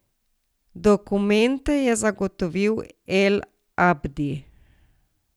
Dokumente je zagotovil El Abdi.